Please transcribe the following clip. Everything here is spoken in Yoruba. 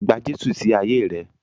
Gba Jésù sí ayé rẹ.